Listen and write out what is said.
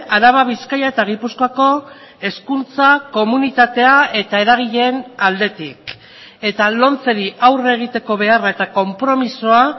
araba bizkaia eta gipuzkoako hezkuntza komunitatea eta eragileen aldetik eta lomceri aurre egiteko beharra eta konpromisoa